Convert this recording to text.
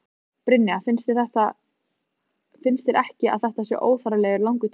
Brynja: Finnst þér ekki að þetta sé óþarflega langur tími?